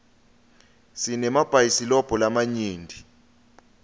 sinemabhayisilobho lamanyenti